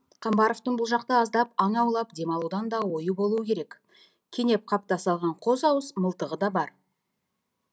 қамбаровтың бұл жақта аздап аң аулап демалудан да ойы болуы керек кенеп қапта салған қос ауыз мылтығы да бар